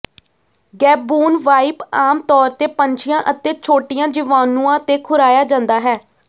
Gaboon viper ਆਮ ਤੌਰ ਤੇ ਪੰਛੀਆਂ ਅਤੇ ਛੋਟੀਆਂ ਜੀਵਾਣੂਆਂ ਤੇ ਖੁਰਾਇਆ ਜਾਂਦਾ ਹੈ